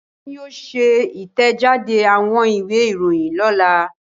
Wọ́n yóò ṣe ìtẹ̀jáde àwọn ìwé-ìròyìn lọ́la.